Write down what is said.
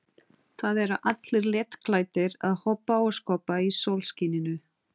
Það eru allir léttklæddir að hoppa og skoppa í sólskininu.